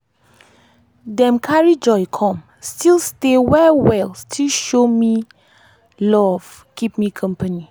dem carry joy come still stay well well still show me love keep me company.